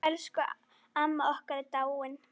Elsku amma okkar er dáin.